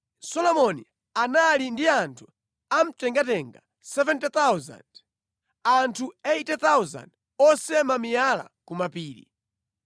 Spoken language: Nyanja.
Solomoni anali ndi anthu amtengatenga 70,000, anthu 80,000 osema miyala ku mapiri,